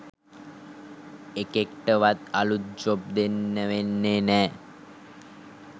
එකෙක්ටවත් අලුත් ජොබ් දෙන්න වෙන්නෙ නෑ.